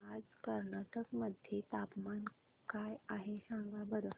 आज कर्नाटक मध्ये तापमान काय आहे सांगा बरं